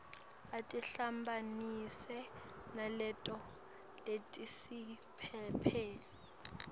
atihambisane naleto letisephepheni